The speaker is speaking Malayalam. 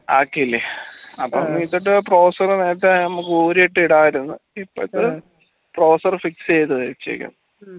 ആക്കിയില്ലേ അപ്പൊ ഇട്ടിട്ട് processor നേരത്തെ നമ്മക്ക് ഊരിയിട്ട് ഇടായിരുന്നു മറ്റേത് processor fix വെച്ചിരിക്കുന്നത്